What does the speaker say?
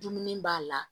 Dumuni b'a la